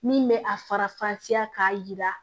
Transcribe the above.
Min bɛ a fara fansi k'a jira